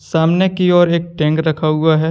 सामने की ओर एक टैंक रखा हुआ है।